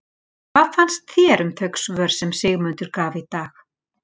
Hvað fannst þér um þau svör sem að Sigmundur gaf í dag?